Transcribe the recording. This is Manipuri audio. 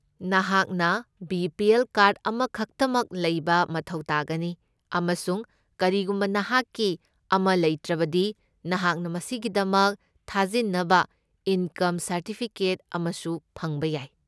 ꯅꯍꯥꯛꯅ ꯕꯤ.ꯄꯤ.ꯑꯦꯜ. ꯀꯥꯔꯗ ꯑꯃꯈꯛꯇꯃꯛ ꯂꯩꯕ ꯃꯊꯧ ꯇꯥꯒꯅꯤ ꯑꯃꯁꯨꯡ ꯀꯔꯤꯒꯨꯝꯕ ꯅꯍꯥꯛꯀꯤ ꯑꯃ ꯂꯩꯇ꯭ꯔꯕꯗꯤ, ꯅꯍꯥꯛꯅ ꯃꯁꯤꯒꯤꯗꯃꯛ ꯊꯥꯖꯤꯟꯅꯕ ꯏꯟꯀꯝ ꯁꯔꯇꯤꯐꯤꯀꯦꯠ ꯑꯃꯁꯨ ꯐꯪꯕ ꯌꯥꯏ꯫